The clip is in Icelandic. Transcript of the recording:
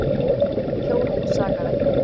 Hjónin sakaði ekki.